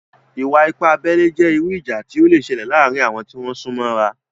Ìwà-ipá abẹ́lé jẹ́ irú ìjà tí ó le sẹlẹ̀ láàrin àwon tí wón súnmọ́ra